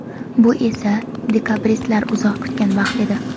Bu esa dekabristlar uzoq kutgan vaqt edi.